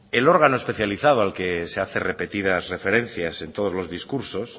el órgano especializado al que se hace repetidas referencias en todos los discursos